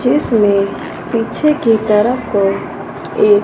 जिसमें पीछे की तरफ कोई एक--